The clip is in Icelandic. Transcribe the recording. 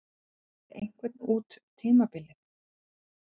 Fá þeir einhvern út tímabilið?